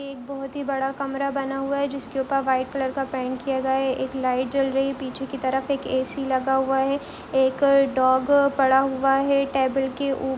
एक बहुत ही बड़ा कमरा बना हुआ है जिसके ऊपर वाइट कलर का पेंट किया गया है एक लाइट जल रही है पीछे कि तरफ एक ए.सी. लगा हुआ है एक डॉग पड़ा हुआ है टेबल के ऊप--